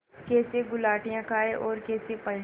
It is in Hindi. कैसे गुलाटियाँ खाएँ और कैसे पलटें